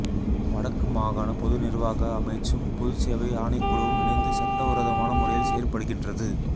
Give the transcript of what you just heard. வடக்கு மாகாண பொது நிர்வாக அமைச்சும் பொதுச் சேவை ஆணைக்குழுவும் இணைந்து சட்டவிரோதமான முறையில் செயற்படுகின்றது